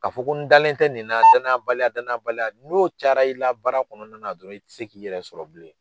Ka fɔ ko n dalen tɛ nin na danaya baliya danaya baliya n'o cayara i la baara kɔnɔna na dɔrɔn i tɛ se k'i yɛrɛ sɔrɔ bilen.